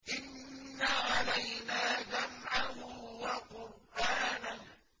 إِنَّ عَلَيْنَا جَمْعَهُ وَقُرْآنَهُ